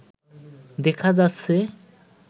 দেখা যাচ্ছে